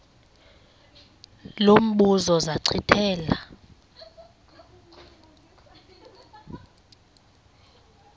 lo mbuzo zachithela